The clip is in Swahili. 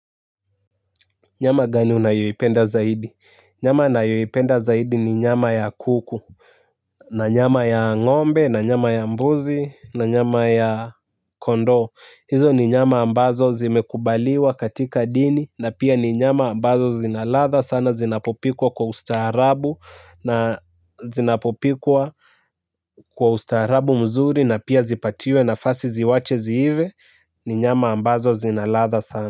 Nyama gani unayoipenda zaidi? Nyama na yoyipenda zaidi ni nyama ya kuku. Na nyama ya ng'ombe, na nyama ya mbuzi, na nyama ya kondoo. Hizo ni nyama ambazo zimekubaliwa katika dini na pia ni nyama ambazo zina ladha sana zinapopikwa kwa ustaarabu na zinapopikwa kwa ustaarabu mzuri na pia zipatiwe nafasi ziwache ziive. Ni nyama ambazo zina ladha sana.